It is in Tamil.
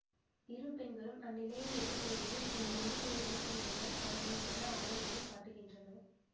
இரு பெண்களும் அந்நிலையை எதிர்கொள்வதில் உள்ள இருவேறுபட்ட முறைகள் அவர்களின் மன ஆழங்களைக் காட்டுகின்றன